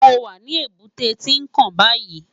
Mó wá ni ébùté Tinkán bàyí